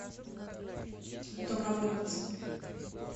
домработница